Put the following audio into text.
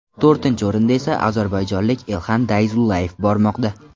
To‘rtinchi o‘rinda esa ozarbayjonlik Elxan Dayzullayev bormoqda.